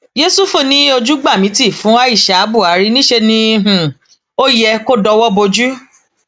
yẹsùfù ní ojú gbà mí ti fún aisha buhari níṣẹ um ló yẹ kó dọwọ bojú